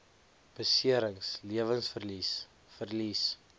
beserings lewensverlies verlies